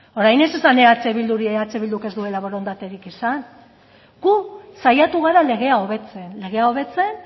orain ez esan eh bilduri eh bilduk borondaterik zian gu saiatu gara legea hobetzen legea hobetzen